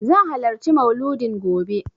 Zan halarci Mauludin gobe.